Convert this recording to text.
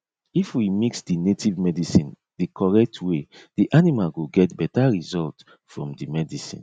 if we mix the native medicine the correct way the animal go get better result from the medicine